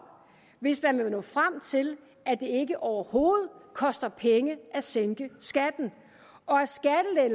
hvis man vil nå frem til at det ikke overhovedet koster penge at sænke skatten og